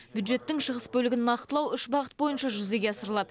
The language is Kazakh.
бюджеттің шығыс бөлігін нақтылау үш бағытта жүзеге асырылады